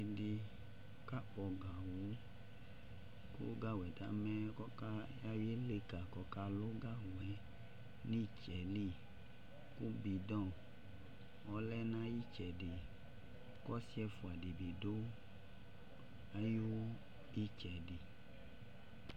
Dɩ kakpɔ gawʋ kʋ gawʋ yɛ tamɛ kʋ ɔka ayɔ ileka kʋ ɔkalʋ gawʋ yɛ nʋ ɩtsɛ yɛ li Kʋ bɩdɔ ɔlɛ nʋ ayʋ ɩtsɛdɩ Kʋ ɔsɩ ɛfʋa dɩ bɩ dʋ ayʋ ɩtsɛdɩ